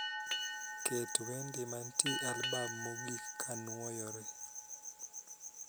Ket wende mantie albam mogik kanwoyore